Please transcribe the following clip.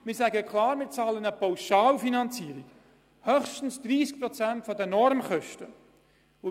Der Kanton hat sich für eine Pauschalfinanzierung entschieden und bezahlt höchstens 30 Prozent der Normkosten.